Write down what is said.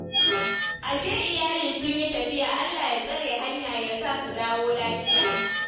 Ashe iyali sun yi tafiya. Allah ya tsare hanya ya sa su dawo lafiya.